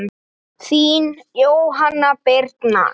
Þín Jóhanna Birna.